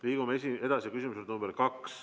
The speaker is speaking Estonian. Liigume edasi teise küsimuse juurde.